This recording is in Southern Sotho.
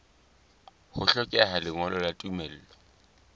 ho hlokeha lengolo la tumello